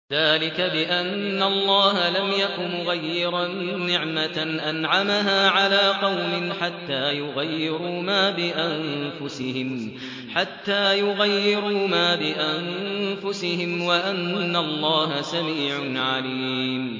ذَٰلِكَ بِأَنَّ اللَّهَ لَمْ يَكُ مُغَيِّرًا نِّعْمَةً أَنْعَمَهَا عَلَىٰ قَوْمٍ حَتَّىٰ يُغَيِّرُوا مَا بِأَنفُسِهِمْ ۙ وَأَنَّ اللَّهَ سَمِيعٌ عَلِيمٌ